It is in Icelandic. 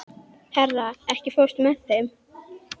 Hera, ekki fórstu með þeim?